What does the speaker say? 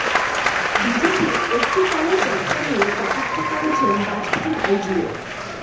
বিজেপির অস্তি কলস যাত্রা নিয়ে কটাক্ষ করেছেন বায়পেয়ীর ভাইঝিও